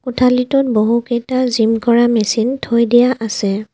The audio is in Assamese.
কোঠালিটোত বহু কেইটা জিম কৰা মেচিন থৈ দিয়া আছে।